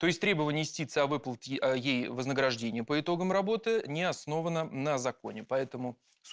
то есть требование истицы о выплате ей вознаграждения по итогам работы не основано на законе поэтому